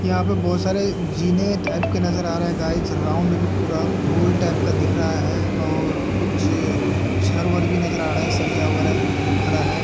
यहाँ पर बहुत सारे जीना टाइप की नजर आ रहे हैं गाइज राउंड में पूरा गोल टाइप का दिख रहा है और कुछ छर वड़ भी नजर आ रहे है सरिया वगैरा जो खरा है |